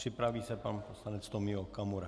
Připraví se pan poslanec Tomio Okamura.